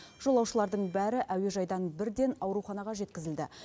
жолаушылардың бәрі әуежайдан бірден ауруханаға жеткізілді